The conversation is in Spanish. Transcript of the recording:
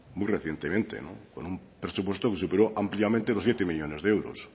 muy recientemente con un presupuesto que superó ampliamente los siete millónes de euros